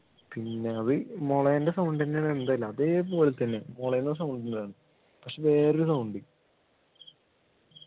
പിന്നെ അത് മൊളേൻ്റെ sound ൻ്റെ ഇതല്ല അതേപോലെതന്നെ മൊളേൻ്റെ sound ഉണ്ടായി പക്ഷേ വേറൊരു sound